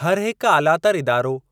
हर हिक आलातर इदारो,